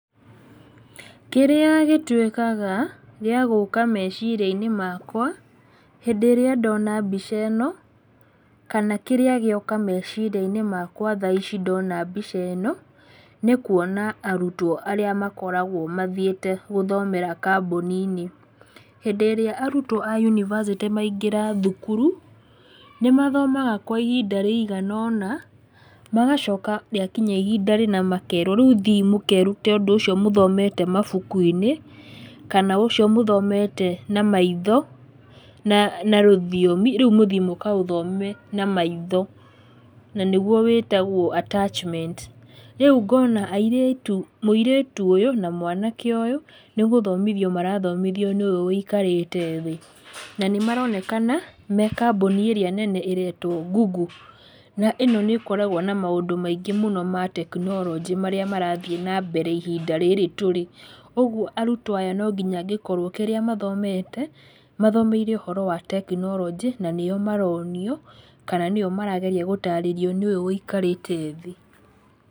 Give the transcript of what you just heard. Kĩrĩa gĩtuĩkaga gĩa gũka mecirianĩ makwa hĩndĩ ĩrĩrĩa ndona mbica ĩno, kana kĩrĩa gĩoka meciria-inĩ makwa thaa ici ndona mbica ĩno, nĩ kwona arutwo arĩa makoraguo mathiĩte gũthomera kambuni-inĩ. Hĩndĩ ĩra arutwo a yunibacĩtĩ maingĩra thukuru, nĩ mathomaga kwa ihinda rĩigana ũna magacoka rĩa kinya ihinda rĩna makerwo, ''Riu thiĩi mũkerute ũndũ thomete mabuku-inĩ, kana ũcio mũthomete na maitho na rũthiomi, rĩu mũthiĩ mũkarũthome na maitho." Na nĩguo wĩtaguo attachment. Rĩu ngona airĩtu, mũirĩtu ũyũ na mwanake ũyũ nĩ gũthomio marathomithio nĩ ũyũ ũikarite thĩ na nimaronekana me kambuni ĩrĩa nene ĩretwo Google na ĩno nĩ ĩkoragwo na maũndũ maingĩ mũno ma tekinoroji marĩa marathie nambere ihinda rĩrĩ tũrĩ. Ũguo arutwo aya no nginya akorwo kĩrĩa mathomete, mathomeire ũhoro wa tekinorojĩ na nĩo maronio, kana nĩo marageria gũtarĩrio nĩ ũyũ ũikarite thĩ